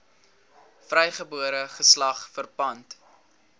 vrygebore geslag verpand